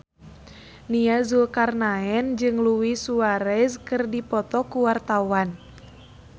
Nia Zulkarnaen jeung Luis Suarez keur dipoto ku wartawan